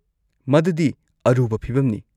ꯃꯗꯨꯗꯤ ꯑꯔꯨꯕ ꯐꯤꯚꯝꯅꯤ꯫